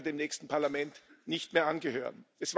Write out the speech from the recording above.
Ich werde dem nächsten Parlament nicht mehr angehören.